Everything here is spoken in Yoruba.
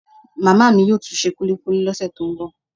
Màmá mi yóò tún se kulikuli lọ́sẹ̀ tó ń bọ̀